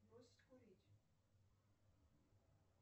бросить курить